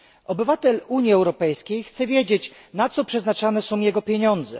Obywatel Unii Europejskiej chce wiedzieć, na co przeznaczane są jego pieniądze.